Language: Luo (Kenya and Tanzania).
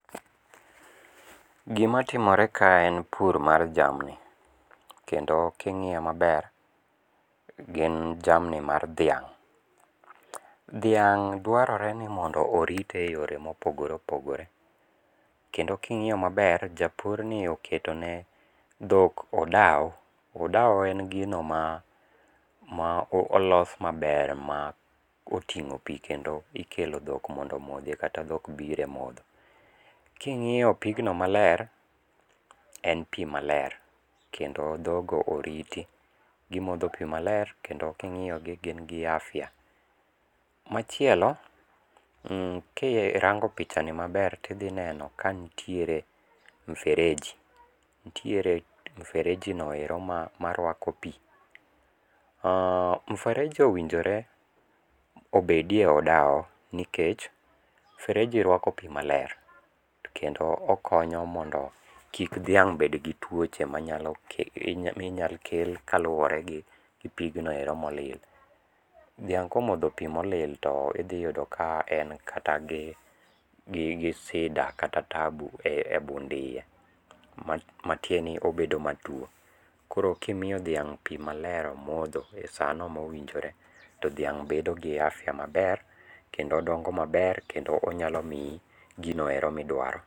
Gimatimore ka en pur mar jamni kendo king'iyo maber gin jamni mar dhiang'. Dhiang' dwarore ni mondo orite e yore mopogore opogore kendo king'iyo maber japurno oketone dhok odao, odao en gino ma olos maber ma oting'o pi kendo ikelo dhok mondo omodhi kata dhok bire modho. King'iyo pigno maler en pi maler kendo dhogo oriti, gimodho pi maler kendo king'iyogi gin gi afya. Machielo mh kirango pichani maber tidhineno kantiere mfereji, nitiere mfereji no ero marwako pi. Oh mfereji owinjore obedi e odao nikech fereji rwako pi maler to kendo okonyo mondo kik dhiang' bedgi tuochje minyakel kaluwore gi pignoero molil. Dhiang' komodho pi molil to idhiyudo ka en kata gi sida kata tabu e bund iye, matiendeni obedo matuo koro kimiyo dhiang' pi maler momodho e sano mowinjore to dhiang' bedo gi afya maber kendo odongo maber kendo onyalo miyi gino ero midwaro.